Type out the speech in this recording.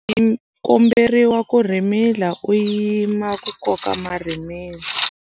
U komberiwa ku rhimila u yima ku koka marhimila.